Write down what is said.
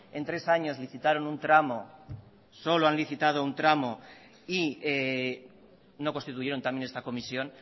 en tres años licitaron un tramo solo han licitado un tramo y no constituyeron también esta comisión